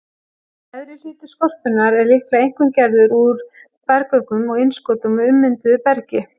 Neðri hluti skorpunnar er líklega einkum gerður úr berggöngum og innskotum og ummynduðu bergi.